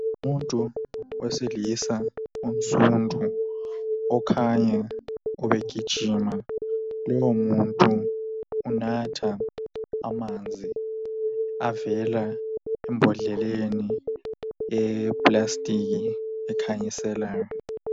Umuntu wesilisa onsundu okhanya ubegijima. Lowo umuntu unatha amanzi avela embodleleni eyeplastiki ekhanyiselayo.